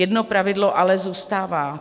Jedno pravidlo ale zůstává.